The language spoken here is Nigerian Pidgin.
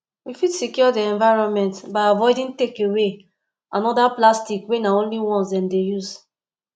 we fit secure di environment by avoiding takeaway and oda plastic wey na only once dem dey use